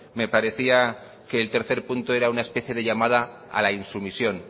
me parecía que el tercer punto era una especie de llamada al insumisión